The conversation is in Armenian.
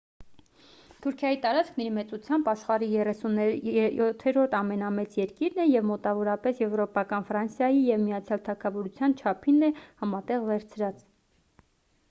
թուրքիայի տարածքն իր մեծությամբ աշխարհի 37-րդ ամենամեծ երկիրն է և մոտավորապես եվրոպական ֆրանսիայի և միացյալ թագավորության չափին է համատեղ վերցրած